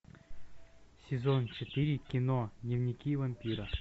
сезон четыре кино дневники вампира